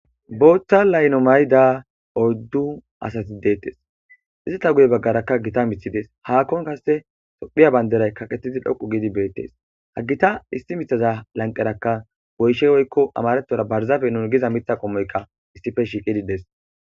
booththa laylo mayda odddu asati deettes izita guye baggarakka gita mithides haakkon kasse tophiya banderay kaqettidi dhoqu giidi beettes hagita isti mithaza lanqerakka goyshe woykko amarethora barzafe nun giza mitha qommoyka issife shiiqidides